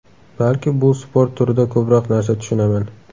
Balki, bu sport turida ko‘proq narsa tushunaman.